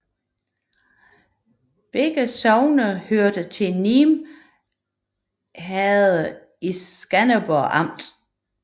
Begge sogne hørte til Nim Herred i Skanderborg Amt